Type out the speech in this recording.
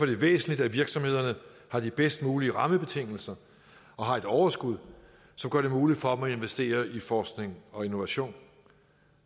det væsentligt at virksomhederne har de bedst mulige rammebetingelser og har et overskud som gør det muligt for dem at investere i forskning og innovation